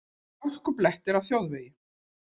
Hálkublettir á þjóðvegum